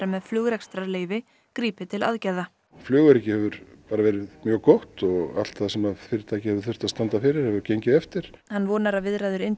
með flugrekstrarleyfi grípi til aðgerða flugöryggi hefur verið mjög gott og allt sem fyrirtækið hefur þurft að standa fyrir hefur gengið eftir hann vonar að viðræður